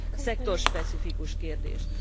szektorspecifikus kérdés.